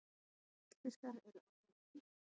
Gullfiskar eru alætur.